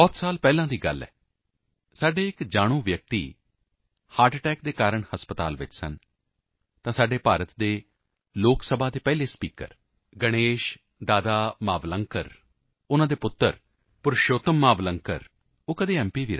ਬਹੁਤ ਸਾਲ ਪਹਿਲਾਂ ਦੀ ਗੱਲ ਹੈ ਸਾਡੇ ਇੱਕ ਜਾਣਕਾਰ ਵਿਅਕਤੀ ਹਰਟ ਅਟੈਕ ਕਾਰਨ ਹਸਪਤਾਲ ਵਿੱਚ ਸਨ ਤਾਂ ਸਾਡੇ ਭਾਰਤ ਦੇ ਲੋਕ ਸਭਾ ਦੇ ਪਹਿਲੇ ਸਪੀਕਰ ਗਣੇਸ਼ ਦਾਦਾ ਮਾਵਲੰਕਰ ਉਨ੍ਹਾਂ ਦੇ ਪੁੱਤਰ ਪੁਰਸ਼ੋਤਮ ਮਾਵਲੰਕਰ ਉਹ ਕਦੇ m